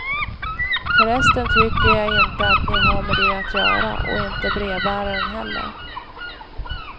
För resten tycker jag inte ni har med det att göra, och inte brevbäraren heller.